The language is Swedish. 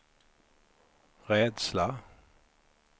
rädsla